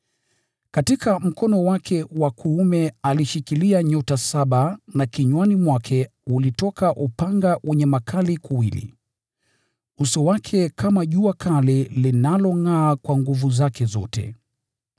Katika mkono wake wa kuume alishika nyota saba, na kinywani mwake ulitoka upanga mkali wenye makali kuwili. Uso wake ulikuwa kama jua likingʼaa kwa nguvu zake zote.